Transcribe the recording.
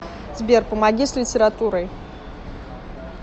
сбер помоги с литературой